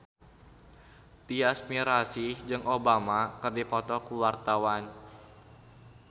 Tyas Mirasih jeung Obama keur dipoto ku wartawan